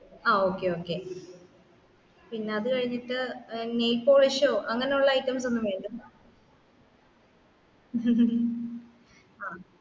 ആ okay okay പിന്നാ അത്കഴിഞ്ഞിട്ട്ഓ nail polish അങ്ങനെ ഉള്ള items ഒന്നുംവേണ്ടേ